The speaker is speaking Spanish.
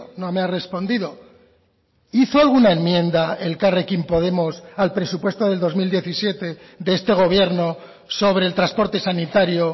no me ha respondido hizo alguna enmienda elkarrekin podemos al presupuesto del dos mil diecisiete de este gobierno sobre el transporte sanitario